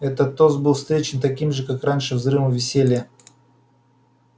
этот тост был встречен таким же как и раньше взрывом веселья